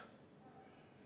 Aitäh!